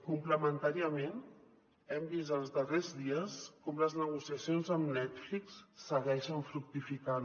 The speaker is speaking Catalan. complementàriament hem vist els darrers dies com les negociacions amb netflix segueixen fructificant